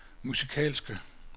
musikalske